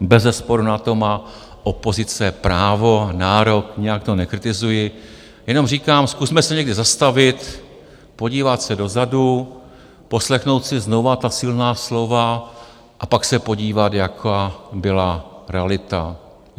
bezesporu na to má opozice právo, nárok, nijak to nekritizuji, jenom říkám, zkusme se někdy zastavit a podívat se dozadu, poslechnout si znovu ta silná slova, a pak se podívat, jaká byla realita.